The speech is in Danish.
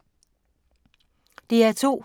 DR2